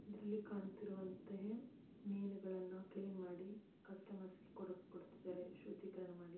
ಇದ್ರರಲ್ಲಿ ಕಾಣುತಿರುವಂತೆ ಮೀನುಗಳನ್ನು ಕ್ಲೀನ್‌ ಮಾಡಿ ಗ್ರಾಹಕರಿಗೆ ಕೊಡುತ್ತಿದ್ದಾರೆ ಶುದ್ದೀಕರಣ ಮಾಡಿ.